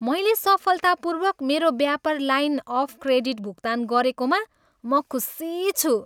मैले सफलतापूर्वक मेरो व्यापार लाइन अफ क्रेडिट भुक्तान गरेकोमा म खुसी छु।